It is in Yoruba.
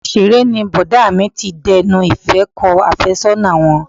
Ọgbà ìṣeré ni Bọ̀dá mi ti dẹnu ìfẹ́ kọ àfẹ́sọ́nà wọn.